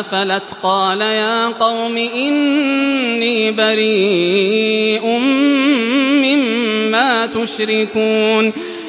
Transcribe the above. أَفَلَتْ قَالَ يَا قَوْمِ إِنِّي بَرِيءٌ مِّمَّا تُشْرِكُونَ